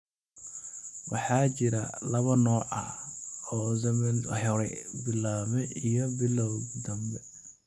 Waxaa jira laba nooc oo Alzheimers hore u bilawday iyo bilawga dambe.